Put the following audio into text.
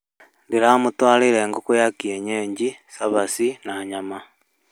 Ndĩramũtwarĩire ngũkũ ya kĩenyeji, cabaci na nyama